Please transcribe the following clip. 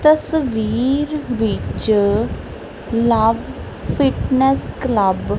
ਤਸਵੀਰ ਵਿੱਚ love fitness club --